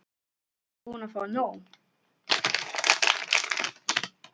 Ertu ekkert búin að fá nóg?